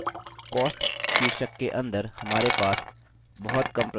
cost शीर्षक के अंदर हमारे पास बहुत कम प्रविष्टियाँ हैं